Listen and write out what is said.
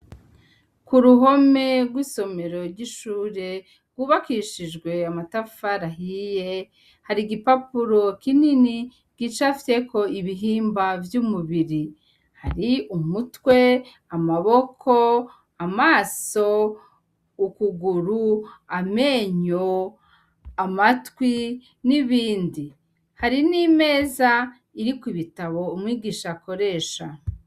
Ku ruhome rw'isomero ry'ishure rwubakishijwe amatafarahiye hari igipapuro kinini gica fyeko ibihimba vy'umubiri hari umutwe amaboko amaso ukuguru amenyo amatwi n'ibindi hari n'imeza iri ku ibitabo umwigisha akoresha.